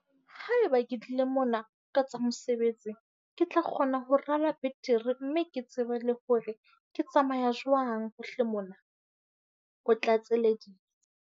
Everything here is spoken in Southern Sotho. Haeba ke tlile mona ka tsa mosebetsi, ke tla kgona ho rala betere mme ke tsebe le hore ke tsamaya jwang hohle mona, o tlatseleditse.